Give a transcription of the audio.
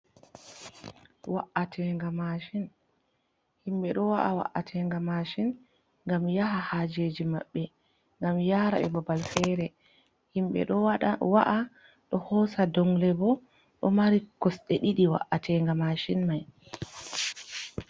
Wa'atenga mashin. Himɓe ɗo wa’a wa’atenga mashin ngam yaha hajeji maɓɓe ngam yara ɓe babal fere. Himɓe ɗo wa’a ɗo hosa dongle bo, ɗo mari kosɗe ɗiɗi wa’atenga mashin mai.